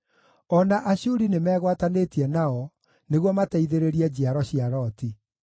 O na Ashuri nĩmegwatanĩtie nao nĩguo mateithĩrĩrie njiaro cia Loti.